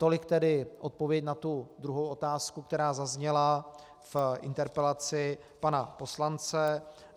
Tolik tedy odpověď na tu druhou otázku, která zazněla v interpelaci pana poslance.